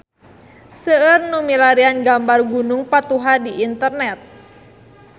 Seueur nu milarian gambar Gunung Patuha di internet